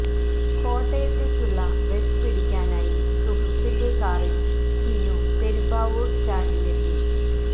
കോട്ടയത്തേക്കുള്ള bus പിടിക്കാനായി സുഹൃത്തിന്റെ കാറില് ടിനു പെരുമ്പാവൂര് സ്റ്റാന്ഡില് എത്തി